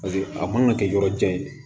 Paseke a mana kɛ yɔrɔ jan ye